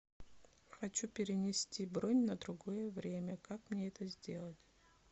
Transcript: хочу перенести бронь на другое время как мне это сделать